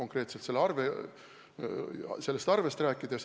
Pean silmas seda konkreetset arvet.